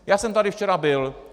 Já jsem tady včera byl.